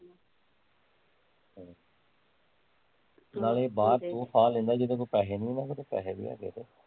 ਨਾਲੇ ਬਾਹਰ ਉਹ ਸਾਹ ਲੈਂਦਾ ਜੀਦੇ ਕੋਲ ਪੈਸੇ ਨੀ ਆ ਉਹਨਾਂ ਕੋਲ ਤੇ ਪੈਸੇ ਵੀ ਹੈਗੇ ਤੇ